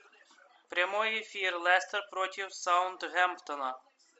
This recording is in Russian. прямой эфир лестер против саутгемптона